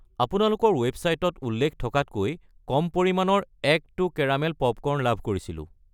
আপোনালোকৰ ৱেবচাইটত উল্লেখ থকাতকৈ কম পৰিমানৰ এক্‌ টু কেৰামেল পপকৰ্ন লাভ কৰিছিলোঁ।